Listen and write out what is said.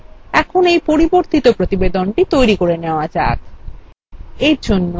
ঠিক আছে এখন এই পরিবর্তিত প্রতিবেদনটি তৈরী করা যাক